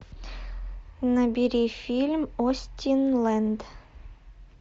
набери фильм остинленд